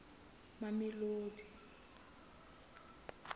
mamelodi